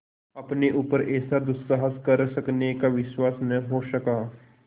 अपने ऊपर ऐसा दुस्साहस कर सकने का विश्वास न हो सका